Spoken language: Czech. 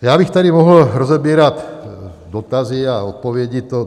Já bych tady mohl rozebírat dotazy a odpovědi.